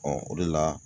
o de la